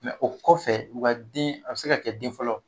u kɔfɛ u ka den a bɛ se ka kɛ den fɔlɔ